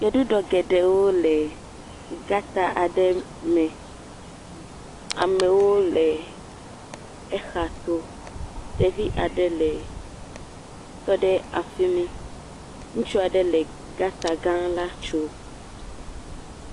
Gbeɖuɖɔ geɖewo le gɔta aɖe me, amewo le exa to, ɖevi aɖe le tɔɖe afi mi, ŋutsu aɖe le gɔta gã la tsom.